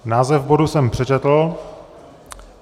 Název bodu jsem přečetl.